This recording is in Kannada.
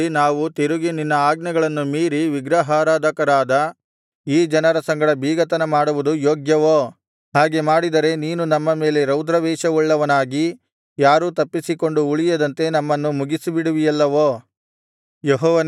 ಹೀಗಿರುವಲ್ಲಿ ನಾವು ತಿರುಗಿ ನಿನ್ನ ಆಜ್ಞೆಗಳನ್ನು ಮೀರಿ ವಿಗ್ರಹಾರಾಧಕರಾದ ಈ ಜನರ ಸಂಗಡ ಬೀಗತನ ಮಾಡುವುದು ಯೋಗ್ಯವೋ ಹಾಗೆ ಮಾಡಿದರೆ ನೀನು ನಮ್ಮ ಮೇಲೆ ರೌದ್ರಾವೇಶವುಳ್ಳವನಾಗಿ ಯಾರೂ ತಪ್ಪಿಸಿಕೊಂಡು ಉಳಿಯದಂತೆ ನಮ್ಮನ್ನು ಮುಗಿಸಿಬಿಡುವಿಯಲ್ಲವೋ